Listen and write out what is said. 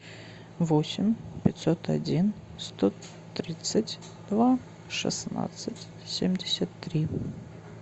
восемь пятьсот один сто тридцать два шестнадцать семьдесят три